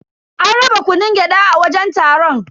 An raba kunun gyada a wajen taron.